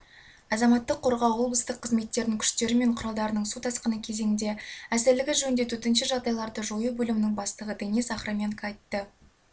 азаматтық қөрғау облыстық қызметтерінің күштері мен құралдарының су тасқыны кезеңіне әзірлігі жөнінде төтенше жағдайларды жою бөлімінің бастығы денис охрименко айтты